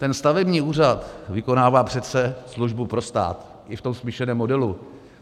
Ten stavební úřad vykonává přece službu pro stát i v tom smíšeném modelu.